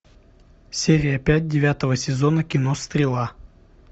серия пять девятого сезона кино стрела